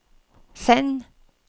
send